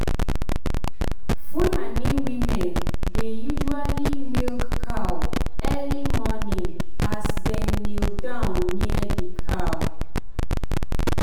fulani women dey usually milk cow early morning as dem kneel down near the cow.